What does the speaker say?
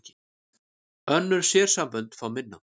Önnur sérsambönd fá minna